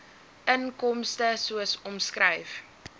inkomste soos omskryf